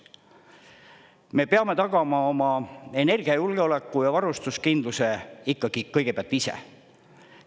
Me peame tagama oma energiajulgeoleku ja varustuskindluse ikkagi kõigepealt ise.